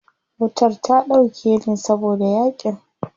Wutar ta dauke ne saboda yaƙin.